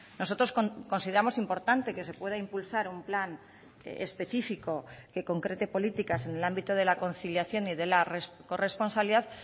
nosotros consideramos importante que se pueda impulsar un plan específico que concrete políticas en el ámbito de la conciliación y de la corresponsabilidad